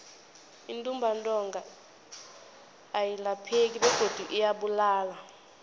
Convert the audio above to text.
intumbantonga ayilapheki begodu iyabulala